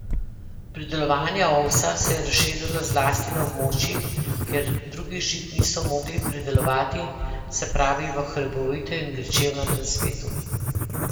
Pridelovanje ovsa se je razširilo zlasti na območjih, kjer drugih žit niso mogli pridelovati, se pravi v hribovitem in gričevnatem svetu.